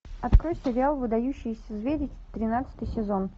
открой сериал выдающиеся звери тринадцатый сезон